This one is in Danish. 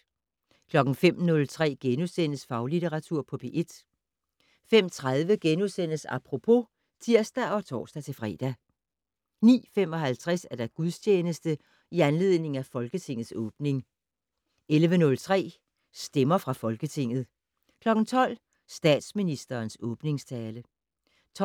05:03: Faglitteratur på P1 * 05:30: Apropos *(tir og tor-fre) 09:55: Gudstjeneste i anledning af Folketingets åbning 11:03: Stemmer fra Folketinget 12:00: Statsministerens åbningstale 12:42: